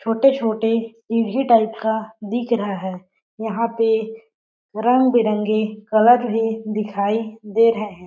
छोटे-छोटे ईटें टाइप का दिख रहा है यहाँ पे रंग-बिरंगे कलर भी दिखाई दे रहे है।